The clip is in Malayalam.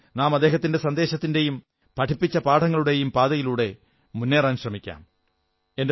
വരൂ നാം അദ്ദേഹത്തിന്റെ സന്ദേശത്തിന്റെയും പഠിപ്പിച്ച പാഠങ്ങളുടെ പാതയിലൂടെയും മുന്നേറാൻ ശ്രമിക്കാം